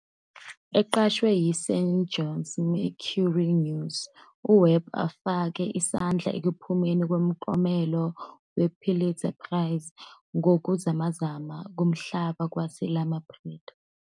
Eqashwe "yiSan Jose Mercury News", uWebb ufake isandla ekuphumeni komklomelo wePulitzer Prize ngokuzamazama komhlaba kwaseLoma Prieta.